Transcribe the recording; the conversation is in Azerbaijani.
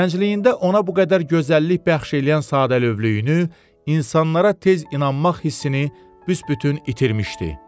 Gəncliyində ona bu qədər gözəllik bəxş eləyən sadəlövhlüyünü, insanlara tez inanmaq hissini büsbütün itirmişdi.